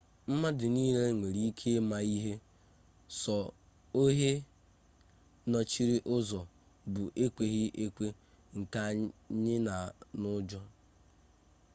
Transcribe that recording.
mmadụ nile nwere ike ịma ihe sọ ohe nọchiri ụzọ bụ ekweghị ekwe nke anyi na ụjọ